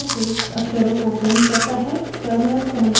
output streams terminal पर स्वतः से text अक्षरों को print करता है